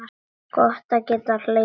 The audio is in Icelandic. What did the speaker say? Gott að geta hlegið.